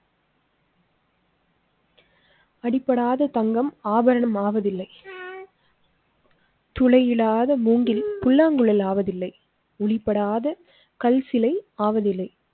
அடிப்படாத தங்கம் ஆபரண மாவதில்லை. துளை இல்லாத மூங்கில் புல்லாங்குழல் ஆவதில்லை. உளிபடாத கல் சிலை ஆவதில்லை.